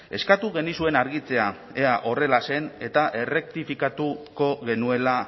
eskatu genizuen argitzea ea horrela zen eta errektifikatuko genuela